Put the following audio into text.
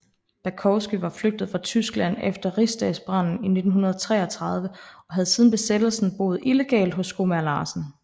Bakowski var flygtet fra Tyskland efter Rigsdagsbranden i 1933 og havde siden Besættelsen boet illegalt hos skomager Larsen